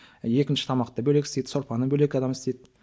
екінші тамақты бөлек істейді сорпаны бөлек адам істейді